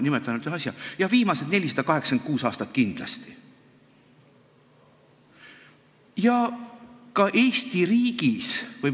Nimetan ainult ühe asja: jah, viimased 486 aastat kindlasti.